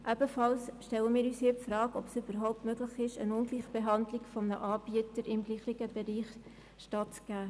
Ebenfalls stellen wir uns die Frage, ob es überhaupt möglich ist, einer Ungleichbehandlung eines Anbieters im Pflegebereich stattzugeben.